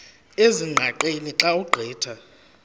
ezingqaqeni xa ugqitha